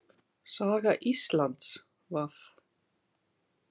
Saga Íslands V